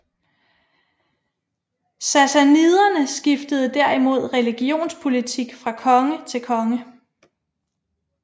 Sassaniderne skiftede derimod religionspolitik fra konge til konge